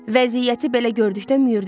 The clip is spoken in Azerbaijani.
Vəziyyəti belə gördükdə Müür dedi: